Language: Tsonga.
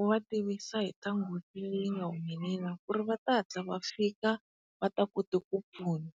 u va tivisa hi ta nghozi leyi nga humelel ku ri va ta hatla va fika va ta kuti ku pfuna.